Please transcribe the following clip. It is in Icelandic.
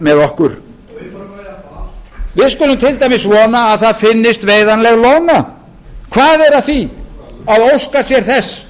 með okkur við skulum til dæmis vona að það finnist veiðanleg loðna hvað er að því að óska sér þess